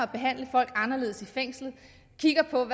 behandle folk anderledes i fængslerne kigger på